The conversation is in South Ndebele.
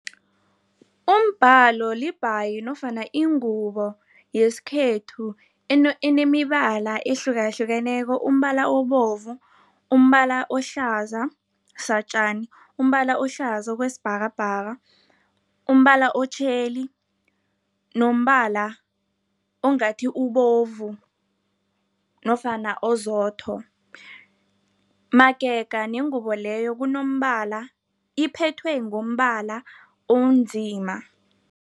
Umbhalo libhayi nofana ingubo yesikhethu, enemibala ehlukahlukeneko. Umbala obovu, umbala ohlaza satjani, umbala ohlaza kwesibhakabhaka, umbala otjheli nombala ongathi ubovu nofana ozotho. Magega nengubo leyo kunombala, iphethwe ngombala onzima.